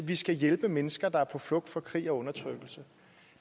vi skal hjælpe mennesker der er på flugt fra krig og undertrykkelse